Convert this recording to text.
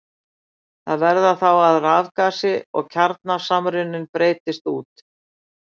Það verður þá að rafgasi og kjarnasamruni breiðist út.